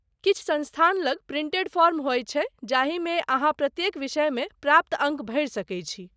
किछु संस्थान लग प्रिंटेड फॉर्म होयत छै जाहिमे अहाँ प्रत्येक विषयमे प्राप्त अङ्क भरि सकैत छी।